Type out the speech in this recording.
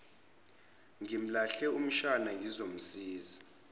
ngimlahle umshana ngizomsiza